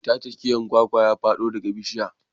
Mai tace giyar kwakwa ya fado daga bishiya.